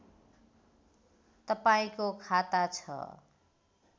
तपाईँको खाता छ